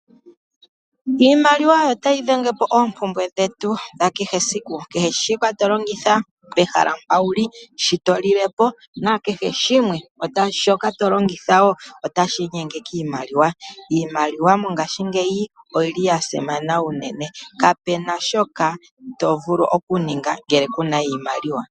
Iimaliwa oyo tayidhengepo oompumbwe dhetu dhakehesiku. Kehe shika tolongitha pehala mpa wuli sho tolilepo nakehe shimwe shoka tolongitha woo otashiinyenge kiimaliwa. Iimaliwa mongashingeyi oyili yasimana uunene, kapena shoka tovulu okuninga ngele kuna iimaliwa.